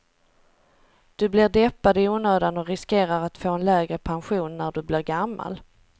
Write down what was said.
Du blir deppad i onödan och riskerar att få en lägre pension när du blir gammal.